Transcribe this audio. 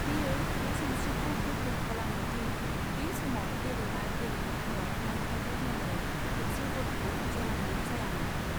बेयो बे सानस्रिखौ गोख्रों खालामो दि बे समाव गेलेनाय गेलेमुफोराव नांथारगौ महरै थोबसे बलखौ जोनांगौ जायामोन।